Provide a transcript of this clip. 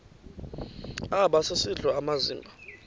aba sisidl amazimba